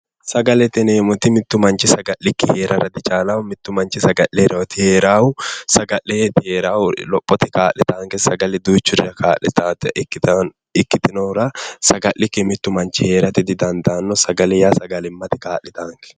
Sagalete yineemmoti mittu manchi sagalkki herara dichalawo, manchi beetti saga'lirooti heeraahu saga 'leeti heeraahu, lophote kaa'litaanke duuchurira kaa'litaata ikkitinohura saga'likki mittu manchi heerate didandaanno. sagale yaa sagalimmate kaa'litaanke